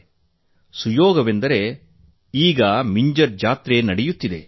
ಕಾಕತಾಳೀಯವೆಂದರೆ ಈಗ ಮಿಂಜರ್ ಜಾತ್ರೆ ನಡೆಯುತ್ತಿದೆ